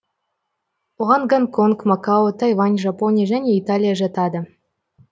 оған гонконг макао тайвань жапония және италия жатады